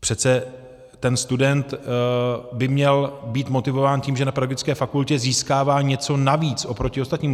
Přece ten student by měl být motivován tím, že na pedagogické fakultě získává něco navíc oproti ostatním.